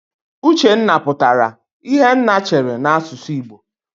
Uchenna pụtara "Ihe nna chere" n'asụsụ Igbo.